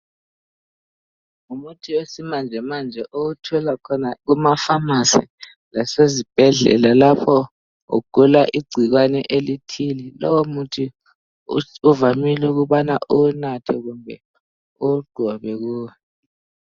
Ngumuthi wesimanje manje owuthola khona kuma"pharmacy "lasezibhedlela lapho ugula igcikwane elithile. Lowo muthi uvamile ukubana uwunathe kumbe uwugobe kuwe.